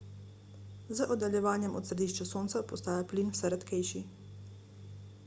z oddaljevanjem od središča sonca postaja plin vse redkejši